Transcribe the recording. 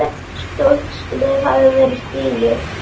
Stórt skref hafði verið stigið.